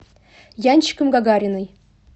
янчиком гагариной